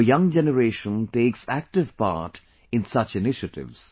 Our young generation takes active part in such initiatives